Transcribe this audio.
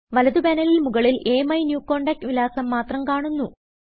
വലത് പാനലിൽ മുകളിൽ അമിന്യൂകോണ്ടാക്ട് വിലാസം മാത്രം കാണുന്നു